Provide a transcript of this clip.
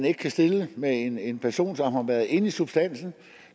ikke kan stille med en en person som har været inde i substansen og